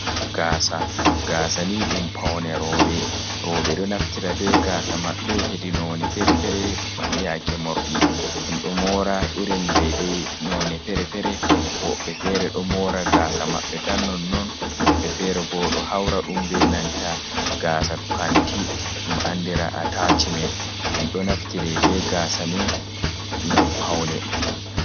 Gaasa, gaasa ni ɗum paune rooɓe, rooɓe ɗo naftira be gaasa maɓɓe hedi none fere-fere, yaake morɗi ɗum ɗo moora irin dei dei none fere-fere, woɓɓe fere ɗo moora gaasa maɓɓe tan non non, woɓɓe fere bo ɗo haura ɗum be nanta gaasa kanti ɗum andira atacimen ɗum ɗo naftire be gaasa mai ngam paune.